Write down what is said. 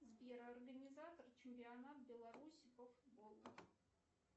сбер организатор чемпионата беларуси по футболу